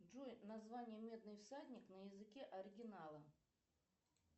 джой название медный всадник на языке оригинала